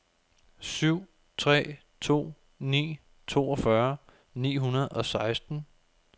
syv tre to ni toogfyrre ni hundrede og seksten